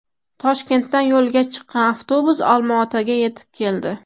Toshkentdan yo‘lga chiqqan avtobus Olmaotaga yetib keldi.